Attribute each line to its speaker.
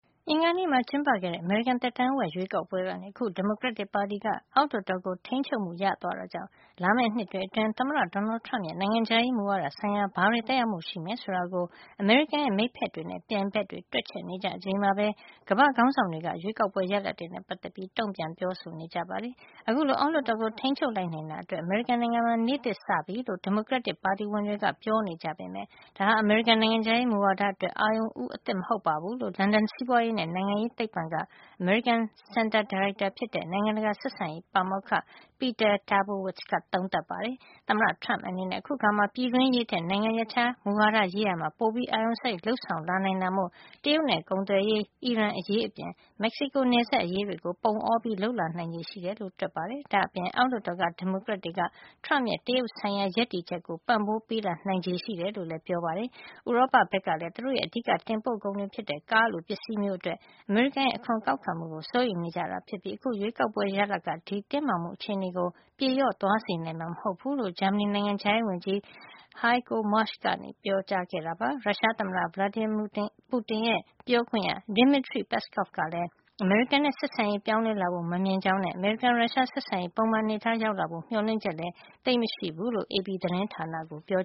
Speaker 1: အင်္ဂါနေ့မှာ ကျင်းပခဲ့တဲ့ အမေရိကန် သက်တမ်းဝက်ရွေးကောက်ပွဲကနေ အခု ဒီမိုကရက်တစ်ပါတီက အောက်လွှတ်တော်ကို ထိန်းချုပ်မှုရသွားတာကြောင့် လာမယ့် နှစ်တွေ အတွင်း သမ္မတ Donald Trump ရဲ့ နိုင်ငံခြားရေး မူဝါဒဆိုင်ရာ ဘာတွေ သက်ရောက်မှု ရှိမယ် ဆိုတာကို အမေရိကန်ရဲ့ မိတ်ဖက်တွေနဲ့ ပြိုင်ဘက်တွေက တွက်ချက်နေကြချိန်မှာပဲ ကမ္ဘာ့ခေါင်းဆောင်တွေက ရွေးကောက်ပွဲရလဒ်တွေနဲ့ပတ်သက်ပြီး တုန့်ပြန်ပြောဆိုနေကြပါတယ်။ အခုလို အောက်လွှတ်တော်ကို ထိန်းချုပ်လိုက်နိုင်တာအတွက် အမေရိကန်နိုင်ငံမှာ နေ့သစ်စပြီလို့ ဒီမိုကရက်တစ်ပါတီဝင်တွေက ပြောနေကြပေမယ့် ဒါဟာ အမေရိကန်နိုင်ငံခြားရေး မူဝါဒအတွက် အာရုံဦးအသစ် မဟုတ်ဖူးလို့ လန်ဒန်စီးပွါးရေးနဲ့ နိုင်ငံရေးသိပ္ပံက အမေရိကန် စင်တာ ဒါရိုက်တာ ဖြစ်တဲ့ နိုင်ငံတကာဆက်ဆံရေး ပါမောက္ခ Peter Trubowitz က သုံးသပ်ပါတယ်။ သမ္မတ Trump အနေနဲ့ အခုအခါမှာ ပြည်တွင်းရေးထက် နိုင်ငံရပ်ခြားမူဝါဒရေးရာမှာ ပိုပြီး အာရုံစိုက် လုပ်ဆောင်လာ နိုင်တာမို့ တရုတ်နဲ့ ကုန်သွယ်ရေး အီရန်အရေး အပြင် မက်ဆီကို နယ်စပ်အရေးတွေကို ပုံအော လုပ်လာနိုင်ချေရှိနေတယ်လို့ တွက်ပါတယ်။ ဒါ့အပြင် အောက်လွှတ်တော်က ဒီမိုကရက်တွေက Trump ရဲ့ တရုတ်ဆိုင်ရာ ရပ်တည်ချက်ကို ပံ့ပိုးပေးလာနိုင်တယ်လို့ ဆိုပါတယ်။ ဥရောပ ဘက်ကလည်းသူတို့ရဲ့ အဓိက တင်ပို့ကုန်တွေ ဖြစ်တဲ့ ကားလို ပစ္စည်းမျိုးအတွက် အမေရိကန်ရဲ့ အခွန်ကောက်ခံမှုကို စိုးရိမ်နေကြတာဖြစ်ပြီး အခု ရွေးကောက်ပွဲရလဒ်က ဒီတင်းမာမှုအခြေနေကို ပြေလျော့သွားစေနိုင်မှာ မဟုတ်ဖူးလို့ ဂျာမဏီနိုင်ငံခြားရေး ဝန်ကြီး ဟိုင်ကိုမါရှ် Heiko Maas က ပြောပါတယ်။ ရုရှားသမ္မတ Vladimir Putin ရဲ့ ပြောခွင့်ရ Dmitry Peskov ကလည်း အမေရိကန်နဲ့ ဆက်ဆံရေး ပြောင်းလဲလာဖို့ မမြင်ကြောင်းနဲ့ အမေရိကန် - ရုရှား ဆက်ဆံရေး ပုံမှန်အနေထား ပြန်ရောက်လာဖို့ မျှော်လင့်ချက်လည်း သိပ်မရှိဘူးလို့ AP သတင်းဌာနကို ပြော